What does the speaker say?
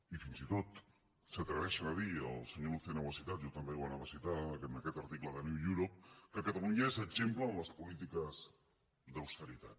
i fins i tot s’atreveixen a dir el senyor lucena ho ha citat jo també ho anava a citar en aquest article de new europe que catalunya és exemple en les polítiques d’austeritat